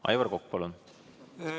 Aivar Kokk, palun!